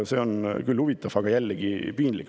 See on küll huvitav, aga jällegi piinlik.